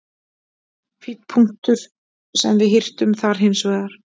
Fínn punktur sem við hirtum þar hins vegar.